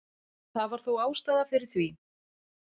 Það var þó ástæða fyrir því.